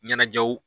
Ɲɛnajɛw